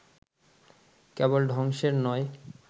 কেবল ধ্বংসের নয়